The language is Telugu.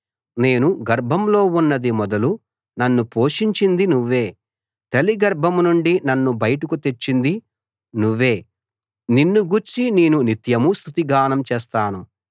నేను గర్భంలో ఉన్నది మొదలు నన్ను పోషించింది నువ్వే తల్లి గర్భం నుండి నన్ను బయటకు తెచ్చింది నువ్వే నిన్ను గూర్చి నేను నిత్యమూ స్తుతిగానం చేస్తాను